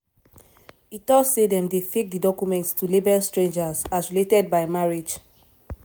e too say dem dey fake di documents to label strangers as related by marriage.